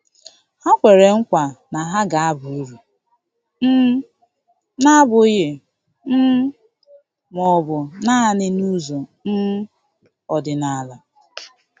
Ha kwere nkwa na ha ga-aba uru, um na-abụghị um ma ọ bụ naanị n'ụzọ um ọdịnala.